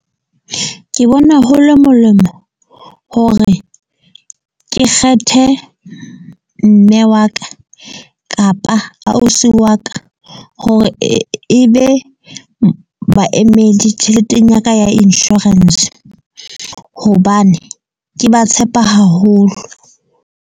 Ke bona ho le molemo hore ke kgethe mme wa ka kapa ausi wa ka, hore e be baemedi tjheleteng ya ka ya insurance. Hobane ke ba tshepa haholo.